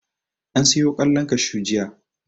An siyo ƙwallon kashu jiya.